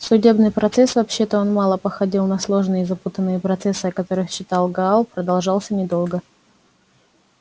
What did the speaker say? судебный процесс вообще-то он мало походил на сложные и запутанные процессы о которых читал гаал продолжался недолго